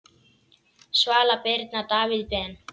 Svala Birna, Davíð Ben.